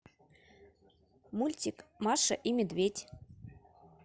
мультик маша и медведь